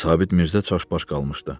Sabit Mirzə çaşbaş qalmışdı.